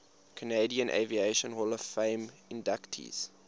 canadian aviation hall of fame inductees